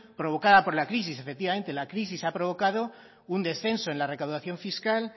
provocada por la crisis efectivamente la crisis ha provocado un descenso en la recaudación fiscal